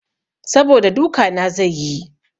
Saboda duka na zai yi.